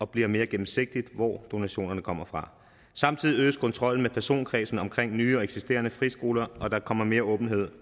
bliver mere gennemsigtigt hvor donationerne kommer fra samtidig øges kontrollen med personkredsen omkring nye og eksisterende friskoler og der kommer mere åbenhed